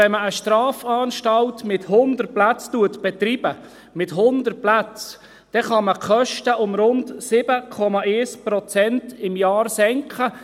Wenn man eine Strafanstalt mit 100 Plätzen betreibt – mit 100 Plätzen – dann kann man die Kosten pro Jahr um rund 7,1 Prozent senken.